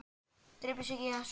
Depurð skyggði svip jarla.